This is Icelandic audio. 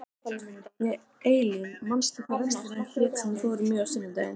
Eylín, manstu hvað verslunin hét sem við fórum í á sunnudaginn?